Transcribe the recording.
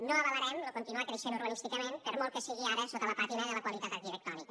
no avalarem lo continuar creixent urbanísticament per molt que sigui ara sota la pàtina de la qualitat arquitectònica